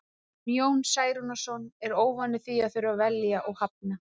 En Jón Særúnarson er óvanur því að þurfa að velja og hafna.